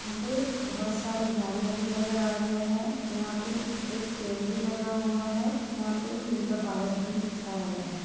यहाँ पे बहुत सारे गाड़ियाँ भी नजर आ रहे हैं यहाँ पे एक पेड़ भी लगा हुआ है यहाँ पे नीला बादल भी छाया हुआ है।